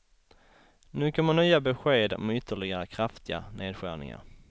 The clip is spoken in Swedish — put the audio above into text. Nu kommer nya besked om ytterligare kraftiga nedskärningar.